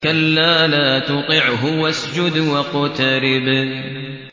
كَلَّا لَا تُطِعْهُ وَاسْجُدْ وَاقْتَرِب ۩